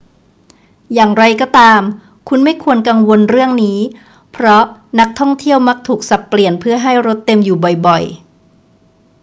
อย่างไรก็ตาม คุณไม่ควรกังวลเรื่องนี้ เพราะนักท่องเที่ยวมักถูกสับเปลี่ยนเพื่อให้รถเต็มอยู่บ่อย ๆ